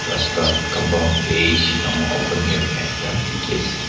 rasta compund bishi dangor open area ekta dikhiase.